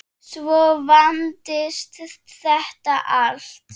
Svo vandist þetta allt.